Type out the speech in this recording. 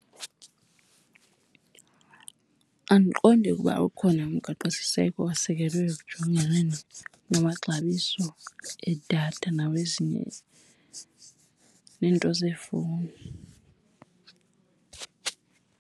Andiqondi ukuba ukhona umgaqosiseko osekelwe ekujonganeni namaxabiso edatha nawezinye, neento zeefowuni.